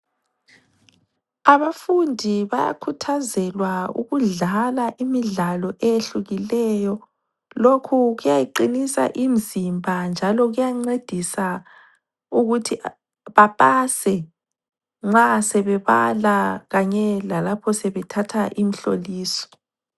Abafundi bayakhuthazelwa ukudlala imidlalo eyehlukileyo lokhu kuyayiqinisa imzimba njalo kuyancedisa ukuthi bapase nxa sebebala kanye lalapho sebethatha imhloliso.